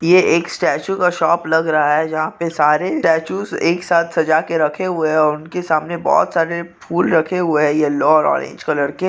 यह एक स्टाचू का शॉप लग रहा है जहाँ पे सारे स्टाचूस एक साथ सजाके रखे हुए है उनके सामने बहुत सारे फूल रखे हुए है येल्लो अँड ऑरेंज कलर के।